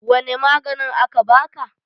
wane maganin aka baka?